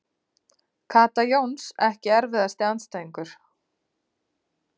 Kata Jóns Ekki erfiðasti andstæðingur?